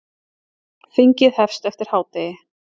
Þingið hefst eftir hádegi.